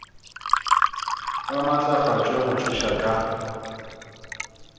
ba maatlafatšwe go thuša ka